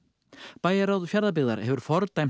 bæjarráð Fjarðabyggðar hefur fordæmt